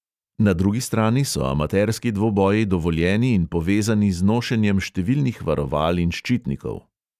Na drugi strani so amaterski dvoboji dovoljeni in povezani z nošenjem številnih varoval in ščitnikov.